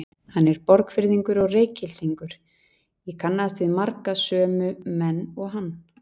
Hann er Borgfirðingur og Reykhyltingur, ég kannaðist við marga sömu menn og hann.